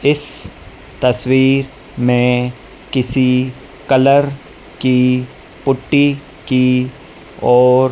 इस तस्वीर में किसी कलर की पुट्टी की और--